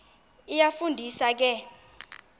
iyafu ndisa ke